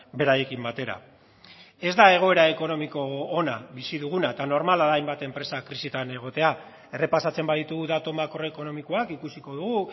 beraiekin batera ez da egoera ekonomiko ona bizi duguna eta normala da hainbat enpresa krisian egotea errepasatzen baditugu datu makroekonomikoak ikusiko dugu